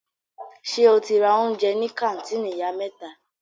Ṣe o ti ra oúnjẹ ní kàńtìnì Ìyá mẹ́ta?